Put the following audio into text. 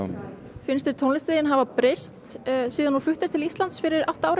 finnst þér tónlistin þín hafa breyst síðan þú fluttir til Íslands fyrir átta árum